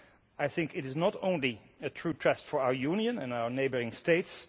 I think it is not only a true test for our union and our neighbouring states.